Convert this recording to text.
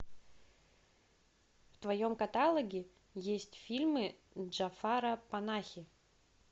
в твоем каталоге есть фильмы джафара панахи